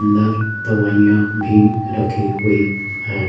अंदर दवाइयां भी रखी हुई हैं।